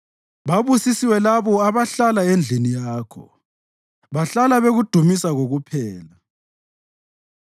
Babusisiwe labo abahlala endlini yakho; bahlala bekudumisa kokuphela.